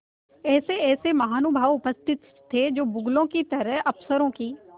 ऐसेऐसे महानुभाव उपस्थित थे जो बगुलों की तरह अफसरों की